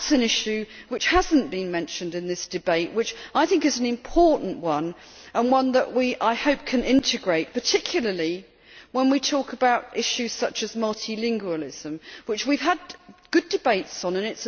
That is an issue which has not been mentioned in this debate, which I think is an important one and one that we, I hope, can integrate, particularly when we talk about issues such as multilingualism, which we have had good debates on.